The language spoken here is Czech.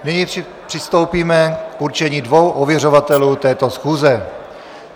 Nyní přistoupíme k určení dvou ověřovatelů této schůze.